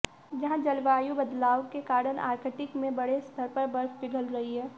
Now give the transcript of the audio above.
जंहा जलवायु बदलाव के कारण आर्कटिक में बड़े स्तर पर बर्फ पिघल रही है